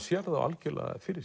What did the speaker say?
sér þá algjörlega fyrir